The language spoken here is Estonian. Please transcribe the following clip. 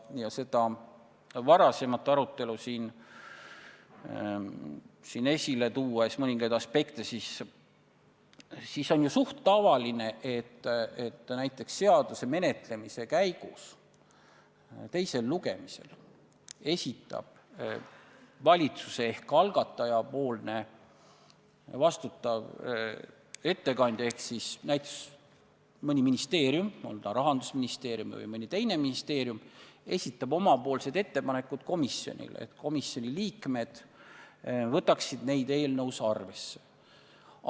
Ja seda varasemat arutelu, mõningaid selle aspekte siin esile tuues on ju suhteliselt tavaline, et näiteks seaduse menetlemise käigus teisel lugemisel esitab valitsuse ehk algataja ettekandja ehk näiteks mõni ministeerium – on ta Rahandusministeerium või mõni teine ministeerium – komisjonile oma ettepanekud, et komisjoni liikmed võtaksid neid eelnõus arvesse.